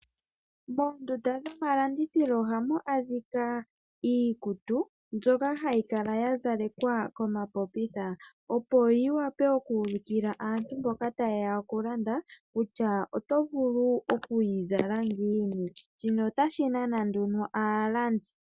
Moondunda dhomalandithilo ohamu adhika iikutu, mbyoka hayi kala ya zalekwa komapopitha, opo yi wape oku ulukila aantu mboka ta yeya oku landa, kutya oto vulu okuyi zala ngiini. Shino otashi nana nduno aalandi.